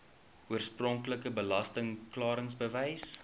oorspronklike belasting klaringsbewys